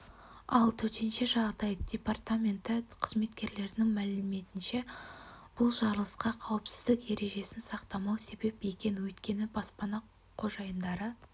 ал төтенше жағдай департаменті қызметкерлерінің мәліметінше бұл жарылысқа қауіпсіздік ережесін сақтамау себеп екен өйткені баспана қожайындары